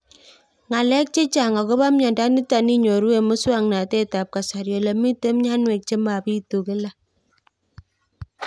Ng'alek chechang' akopo miondo nitok inyoru eng' muswog'natet ab kasari ole mito mianwek che mapitu kila